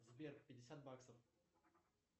сбер пятьдесят баксов